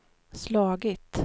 slagit